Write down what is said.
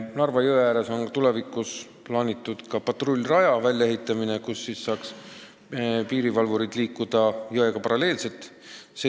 Narva jõe äärde tuleb tulevikus ka patrullrada, kus piirivalvurid saavad liikuda jõega paralleelselt.